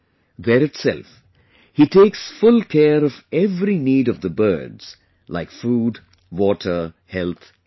There itself, he takes full care of every need of the birds like food, water, health etc